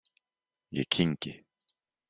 Ég kyngi.